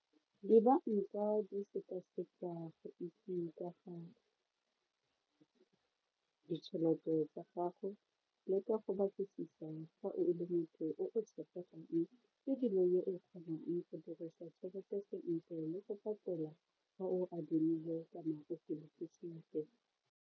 Dibanka di sekaseka go itse ka ga ditšhelete tsa gago le ka go batlisisa fa o le motho yo o tshepegang ebile yo o kgonang go dirisa tšhelete sentle le go fa o a adimile .